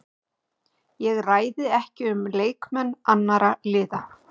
Ég ræði ekki um leikmenn annarra liða.